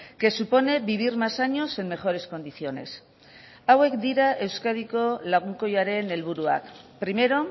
que supone vivir más años en mejores condiciones hauek dira euskadiko lagunkoiaren helburuak primero